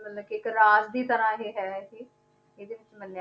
ਮਤਲਬ ਕਿ ਇੱਕ ਰਾਜ ਦੀ ਤਰ੍ਹਾਂ ਇਹ ਹੈ ਇਹ ਇਹਦੇ ਵਿੱਚ ਮੰਨਿਆ